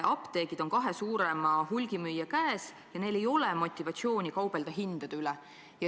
Apteegid on kahe suurema hulgimüüja käes ja neil ei ole motivatsiooni hindade üle kaubelda.